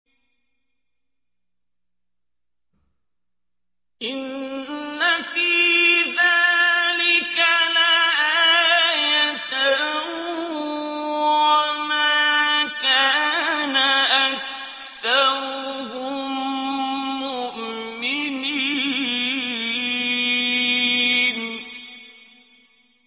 إِنَّ فِي ذَٰلِكَ لَآيَةً ۖ وَمَا كَانَ أَكْثَرُهُم مُّؤْمِنِينَ